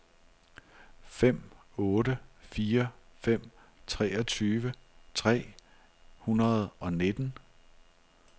fem otte fire fem treogtyve tre hundrede og nitten